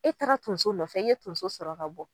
E taara tonso nɔfɛ i ye tonso sɔrɔ ka bɔ.